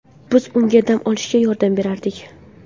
Biz unga dam bosishga yordam berardik.